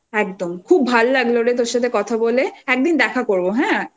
একদম খুব ভালো লাগল রে তোর সাথে কথা বলে একদিন দেখা করব হ্যাঁ